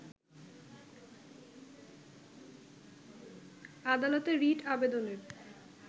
আদালতে রিট আবেদনের